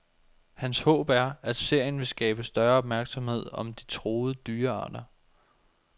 Hans håb er, at serien vil skabe større opmærksomhed om de truede dyrearter.